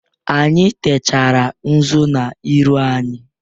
Anyị techara nzụ n'iru anyị.